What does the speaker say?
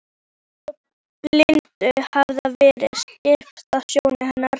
Eins og blindu hafi verið svipt af sjónum hennar.